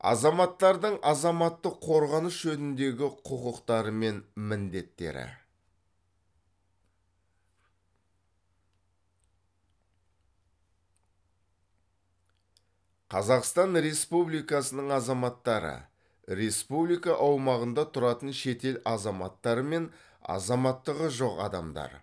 азаматтардың азаматтық қорғаныс жөніндегі құқықтары мен міндеттері қазақстан республикасының азаматтары республика аумағында тұратын шетел азаматтары мен азаматтығы жоқ адамдар